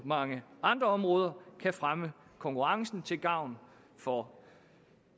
mange andre områder kan fremme konkurrencen til gavn for